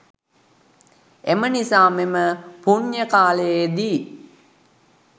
එම නිසා මෙම පුණ්‍ය කාලයේදී